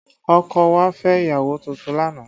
Ọkọ̀ wa fẹ́ ìyàwó tuntun lánàá